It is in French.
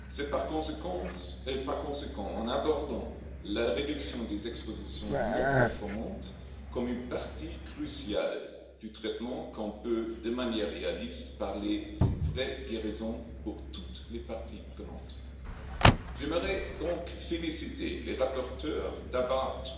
Par conséquent, c'est en considérant la réduction des expositions non performantes comme une partie cruciale du traitement qu'on peut, de manière réaliste, parler d'une vraie guérison pour toutes les parties prenantes. J'aimerais donc féliciter les rapporteurs d'avoir apporté